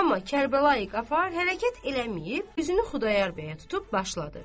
Amma Kərbəlayı Qafar hərəkət eləməyib, üzünü Xudayar bəyə tutub başladı.